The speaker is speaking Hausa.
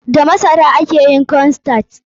Da masara ake yin corn starch.